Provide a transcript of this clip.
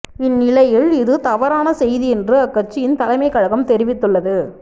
இ ந் நிலையில் இது தவறான செய்தி என்று அக்கட்சியின் தலைமை கழகம் தெரிவித்துள்ளது